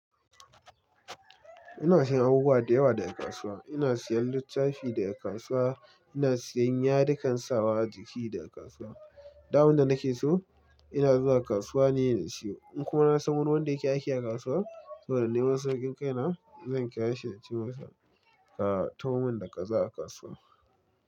Ina siyan abubuwa da yawa daga kasuwa. Ina siyan littafi daga kasuwa, ina siyan yadikan sawa jiki daga kasuwa. Duk abinda nake so ina zuwa kasuwa ne in siyo. In kuma na san wani wanda yake aiki a kasuwa, saboda neman saukin kai na zan kirashi ince masa ka taho mun da kaza a kasuwa.